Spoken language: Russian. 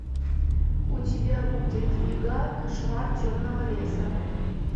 у тебя будет яга кошмар темного леса